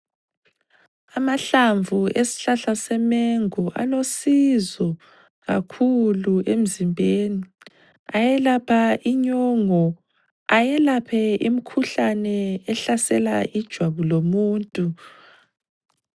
Amahlamvu esihlahla semengo alosizo kakhulu emzimbeni ayelapha inyongo ayelaphe imikhuhlane ehlasela ijwabu lomuntu.